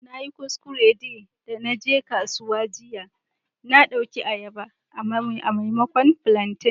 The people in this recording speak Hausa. Na yi kuskure de na je kasuwa jiya, na dauki ayaba a'maimakon plantain.